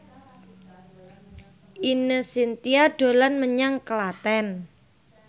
Ine Shintya dolan menyang Klaten